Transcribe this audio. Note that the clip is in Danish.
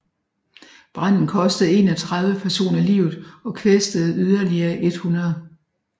Branden kostede 31 personer livet og kvæstede yderligere 100